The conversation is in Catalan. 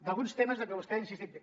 d’alguns temes en què vostè ha insistit